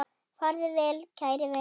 Farðu vel kæri vinur.